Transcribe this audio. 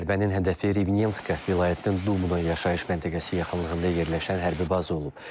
Zərbənin hədəfi Rivnenska vilayətinin Dubna yaşayış məntəqəsi yaxınlığında yerləşən hərbi baza olub.